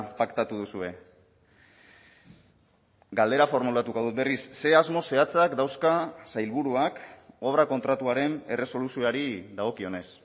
paktatu duzue galdera formulatuko dut berriz ze asmo zehatzak dauzka sailburuak obra kontratuaren erresoluzioari dagokionez